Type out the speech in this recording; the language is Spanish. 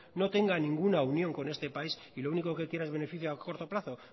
no tenga ninguna unión con este país y lo único que quiera es beneficio a corto plazo